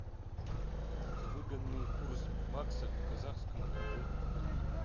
выгодный курс бакса к казахскому тенге